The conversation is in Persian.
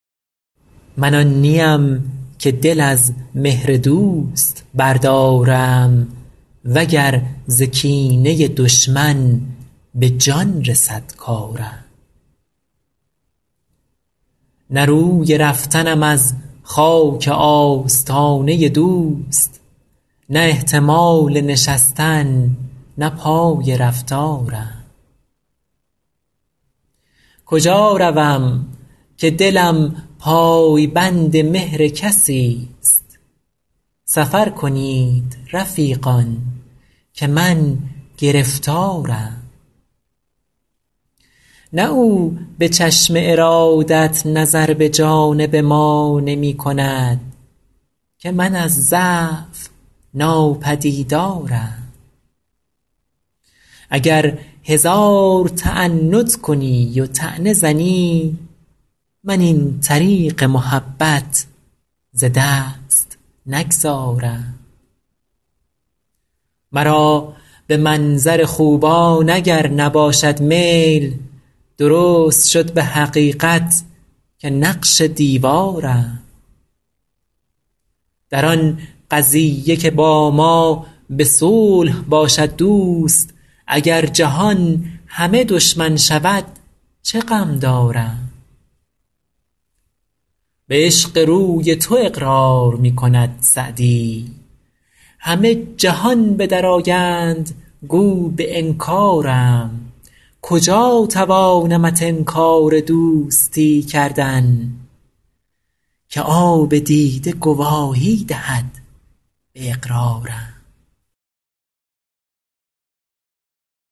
من آن نی ام که دل از مهر دوست بردارم و گر ز کینه دشمن به جان رسد کارم نه روی رفتنم از خاک آستانه دوست نه احتمال نشستن نه پای رفتارم کجا روم که دلم پای بند مهر کسی ست سفر کنید رفیقان که من گرفتارم نه او به چشم ارادت نظر به جانب ما نمی کند که من از ضعف ناپدیدارم اگر هزار تعنت کنی و طعنه زنی من این طریق محبت ز دست نگذارم مرا به منظر خوبان اگر نباشد میل درست شد به حقیقت که نقش دیوارم در آن قضیه که با ما به صلح باشد دوست اگر جهان همه دشمن شود چه غم دارم به عشق روی تو اقرار می کند سعدی همه جهان به در آیند گو به انکارم کجا توانمت انکار دوستی کردن که آب دیده گواهی دهد به اقرارم